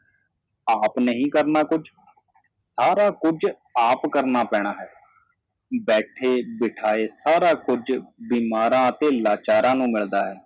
ਆਪ ਨਹੀ ਕਰਣਾ ਕੁੱਝ ਸਾਰਾ ਕੁੱਝ ਆਪ ਕਰਣਾ ਪੈਣਾ ਹੈ ਬੈਠੇ ਬਿਠਾਏ ਸਾਰਾ ਕੁੱਝ ਬਿਮਾਰਾਂ ਅਤੇ ਲਾਚਾਰਾਂ ਨੂੰ ਮਿਲਦਾ ਹੈ